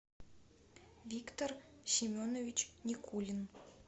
виктор семенович никулин